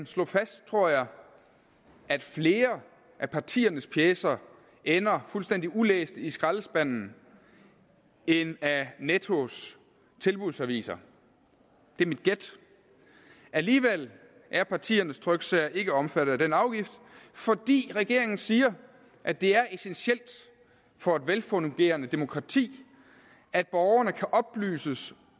slå fast at flere af partiernes pjecer ender fuldstændig ulæste i skraldespanden end af nettos tilbudsaviser det er mit gæt alligevel er partiernes tryksager ikke omfattet af den afgift fordi regeringen siger at det er essentielt for et velfungerende demokrati at borgerne kan oplyses